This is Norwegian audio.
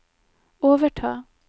overta